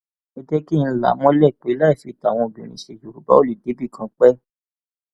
ẹ jẹ kí n là á mọlẹ pé láì fi tàwọn obìnrin ṣe yorùbá ò lè débìkan pẹẹ